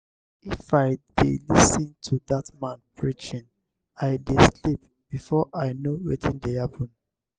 if i dey lis ten to dat man preaching i dey sleep before i no wetin dey happen.